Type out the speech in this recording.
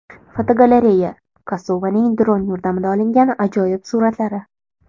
Fotogalereya: Kosovaning dron yordamida olingan ajoyib suratlari.